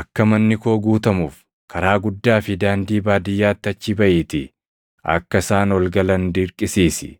‘Akka manni koo guutamuuf karaa guddaa fi daandii baadiyyaatti achi baʼiitii akka isaan ol galan dirqisiisi.